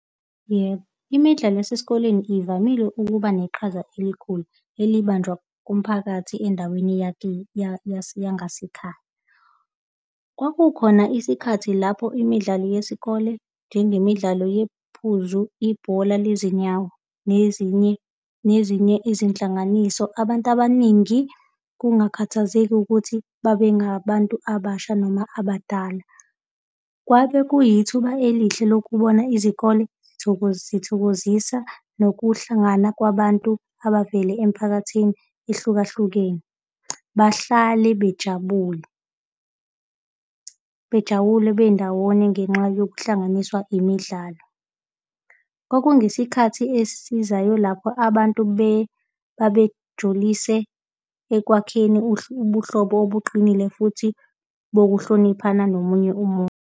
Yebo, imidlalo esesikoleni ivamile ukuba neqhaza elikhulu elibanjwa kumphakathi endaweni yakini yangasekhaya. Kwakukhona isikhathi lapho imidlalo yesikole njengemidlalo yephuzu, ibhola lezinyawo nezinye, nezinye izinhlanganiso abantu abaningi, kungakhathalazeki ukuthi babe ngabantu abasha noma abadala. Kwabe kuyithuba elihle lokubona izikole zithokozisa nokuhlangana kwabantu abavela emiphakathini ehlukahlukene. Bahlale bejabule, bejabule bendawonye ngenxa yokuhlanganiswa imidlalo. Okungesikhathi esizayo lapho abantu babejulise ekwakheni ubuhlobo obuqinile futhi bokuhloniphana nomunye umuntu.